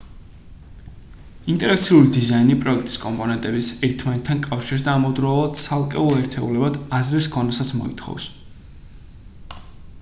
ინტერაქციული დიზაინი პროექტის კომპონენტების ერთმანეთთან კავშირს და ამავდროულად ცალკეულ ერთეულებად აზრის ქონასაც მოითხოვს